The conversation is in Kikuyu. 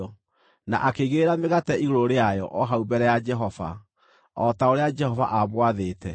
na akĩigĩrĩra mĩgate igũrũ rĩayo o hau mbere ya Jehova, o ta ũrĩa Jehova aamwathĩte.